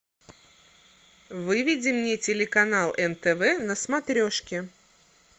выведи мне телеканал нтв на смотрешке